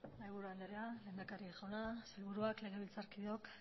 mahaiburu andrea lehendakari jauna sailburuak legebiltzarkideok